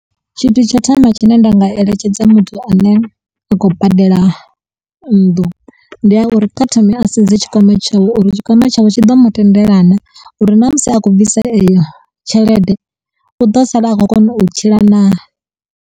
Tshithu tsho thoma tshine nda nga eletshedza muthu ane a khou badela nnḓu ndi a uri kha thome a sedze tshikwama tshawe uri tshikwama tshawe tshi ḓo mu tendelanaa uri na musi a khou bvisa iyo tshelede u ḓo sala a khou kona u tshila naa.